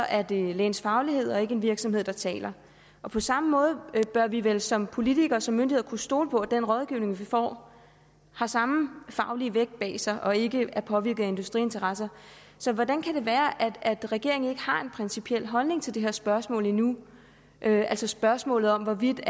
er det lægens faglighed og ikke en virksomhed der taler på samme måde bør vi vel som politikere og som myndigheder kunne stole på at den rådgivning vi får har samme faglige vægt bag sig og ikke er påvirket af industriinteresser så hvordan kan det være at regeringen ikke har en principiel holdning til det her spørgsmål endnu altså spørgsmålet om hvorvidt